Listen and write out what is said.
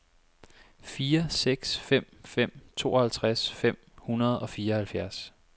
fire seks fem fem tooghalvtreds fem hundrede og fireoghalvfjerds